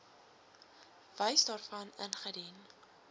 bewys daarvan ingedien